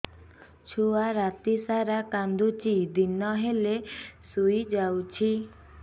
ଛୁଆ ରାତି ସାରା କାନ୍ଦୁଚି ଦିନ ହେଲେ ଶୁଇଯାଉଛି